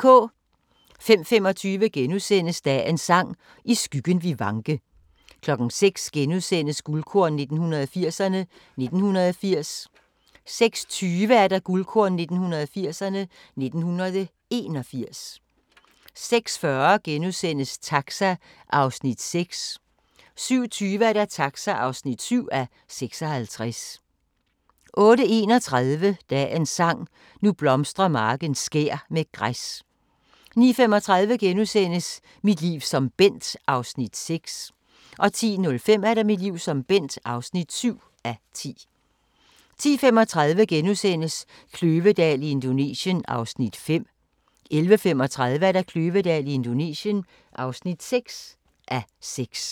05:25: Dagens Sang: I skyggen vi vanke * 06:00: Guldkorn 1980'erne: 1980 * 06:20: Guldkorn 1980'erne: 1981 06:40: Taxa (6:56)* 07:20: Taxa (7:56) 08:31: Dagens Sang: Nu blomstrer marken skær med græs 09:35: Mit liv som Bent (6:10)* 10:05: Mit liv som Bent (7:10) 10:35: Kløvedal i Indonesien (5:6)* 11:35: Kløvedal i Indonesien (6:6)